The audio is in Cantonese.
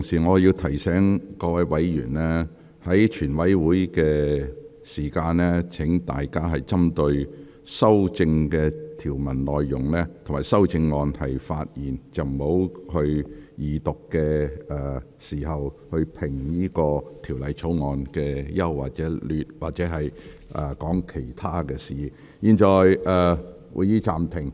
我提醒各位委員，在全體委員會審議階段，請大家針對《條例草案》各項條文及修正案發言，不要如二讀辯論般評論《條例草案》的整體優劣，或論述其他事宜。